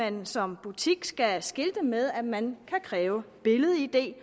at man som butik skal skilte med at man kan kræve billed id